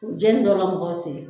U jeni dɔw ka mɔgɔw sen